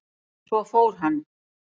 Svo fór hann.